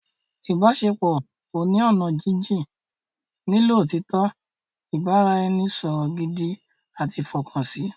Ìbáṣepọ̀ oní ọ̀nà jínjín nílò òtítọ́, ìbára-ẹni-sọ̀rọ̀ gidi àti ìfọkànsí